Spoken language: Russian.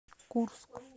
курск